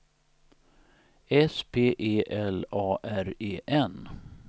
S P E L A R E N